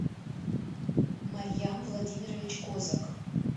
марьям владимирович козак